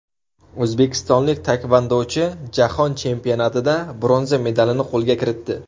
O‘zbekistonlik taekvondochi Jahon chempionatida bronza medalini qo‘lga kiritdi.